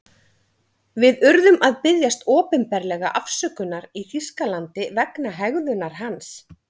Við urðum að biðjast opinberlega afsökunar í Þýskalandi vegna hegðunar hans.